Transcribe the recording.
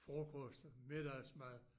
Frokost middagsmad